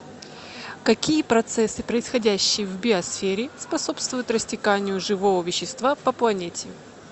какие процессы происходящие в биосфере способствуют растеканию живого вещества по планете